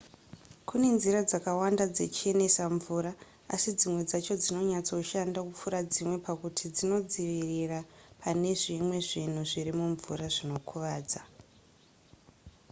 kune nzira dzakawanda dzechenesa mvura asi dzimwe dzacho dzinonyatsoshanda kupfuura dzimwe pakuti dzinodzivirira pane zvimwe zvinhu zviri mumvura zvinokuvadza